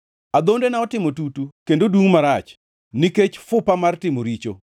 Adhondena otimo tutu kendo dungʼ marach nikech fupa mar timo richo.